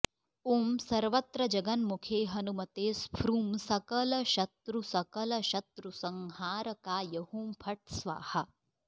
ॐ सर्वत्र जगन्मुखे हनुमते स्फ्रूं सकलशत्रुसकलशत्रुसंहारकाय हुं फट् स्वाहा